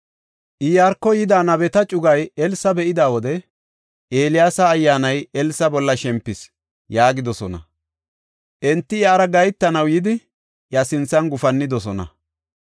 Iyaarko yida nabeta cugay Elsa be7ida wode, “Eeliyaasa ayyaanay Elsa bolla shempis” yaagidosona. Enti iyara gahetanaw yidi, iya sinthan gufannidosona.